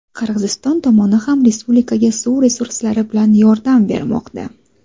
Qirg‘iziston tomoni ham respublikaga suv resurslari bilan yordam bermoqda.